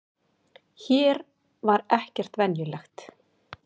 Hér var ekkert venjulegt.